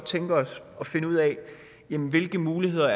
tænke os at finde ud af hvilke muligheder